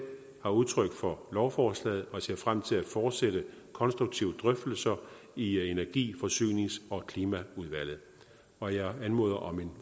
har udtrykt for lovforslaget og jeg ser frem til at fortsætte konstruktive drøftelser i energi forsynings og klimaudvalget og jeg anmoder om en